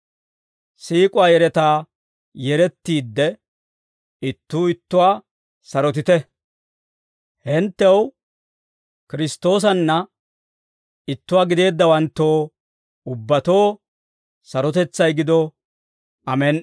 Siik'uwaa yeretaa yerettiidde, ittuu ittuwaa sarotite. Hinttew, Kiristtoosanna ittuwaa gideeddawanttoo ubbatoo sarotetsay gido. Amen"i.